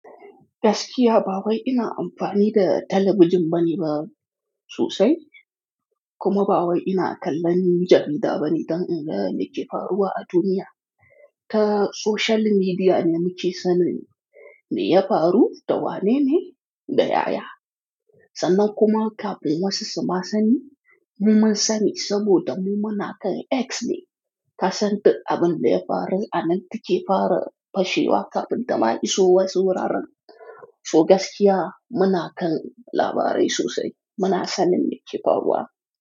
Gaskiya ba wai ina amfani da talabijin bane ba sosai, kuma ba wai ina kallon jarida ba ni don in ga me ke faruwa a duniya. Ta social media ne muke sanin me ya faru da wane ne da yaya. Sannan kuma kafin wasu su ma sani, mu mun sani saboda mu mana kan X ne. Kasan duk abin da ya faru a nan take fara fashewa kafin ta ma iso wasu wuraren. To gaskiya muna kan labarai sosai, muna sanin me ke faruwa.